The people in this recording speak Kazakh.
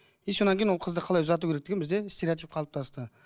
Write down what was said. и сосан кейін ол қызды қалай ұзату керек деген бізде стереотип қалыптасты